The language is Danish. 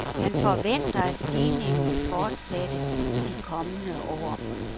Han forventer, at stigningen vil fortsætte i de kommende år.